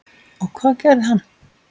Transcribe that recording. Og hvað gerði hann?